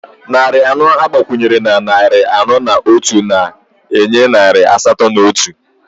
Narị anọ agbakwunyere na narị anọ na otu na-enye narị asatọ na otu